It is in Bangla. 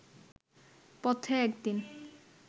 পথে একদিন